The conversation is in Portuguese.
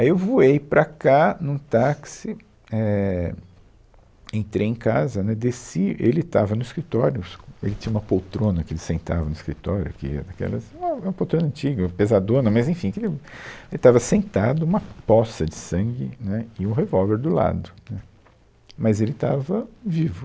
Aí eu voei para cá num táxi, éh, entrei em casa, né, desci, ele estava no escritório, o es, ele tinha uma poltrona que ele sentava no escritório, que aquelas, uh, é uma poltrona antiga, pesadona, mas enfim, tinha, ele estava sentado, uma poça de sangue, né, e o revólver do lado, né, mas ele estava vivo.